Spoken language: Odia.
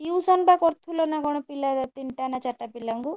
Tuition ବା କରୁ ଥିଲନା କଣ ପିଲା ତିନିଟା ନା ଚାରିଟା ପିଲାଙ୍କୁ?